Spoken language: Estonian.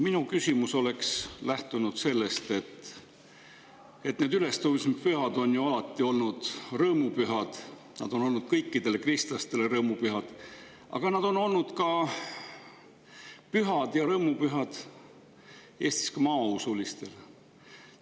Minu küsimus oleks lähtunud sellest, et need ülestõusmispühad on ju alati olnud rõõmupühad ja need on olnud kõikide kristlaste jaoks rõõmupühad, aga need on olnud ka Eesti maausuliste jaoks pühad ja rõõmupühad.